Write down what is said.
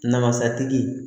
Namasatigi